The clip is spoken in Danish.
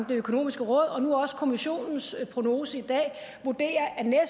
det økonomiske råd og nu også kommissionens prognose i dag vurderer at